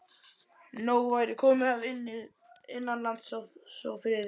Að nóg væri komið af innanlandsófriði.